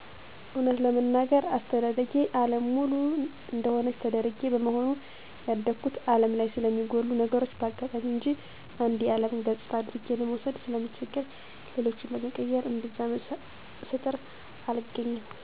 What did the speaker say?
እወነት ለመናገር አስተዳደጌ አለም ሙሉ እደሆነች ተደርጌ በመሆኑ ያደጉት አለም ላይ ስለሚጎሉ ነገሮች በአጋጣሚ እንጅ አንዱ የአለም ገጽታ አድርጌ ለመውሰድ ስለምቸገር ነገሮችን ለመቀየር እምብዛም ስጥር አልገኝም።